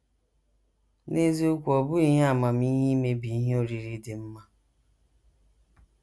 N’eziokwu, ọ bụghị ihe amamihe imebi ihe oriri dị mma.